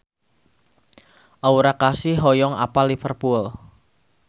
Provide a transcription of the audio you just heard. Aura Kasih hoyong apal Liverpool